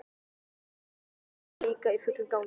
Þar var undirbúningur líka í fullum gangi.